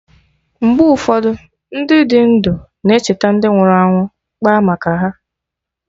Mgbe ụfọdụ, Ndị dị ndụ na-echeta ndị nwụrụ anwụ, kpaa maka ha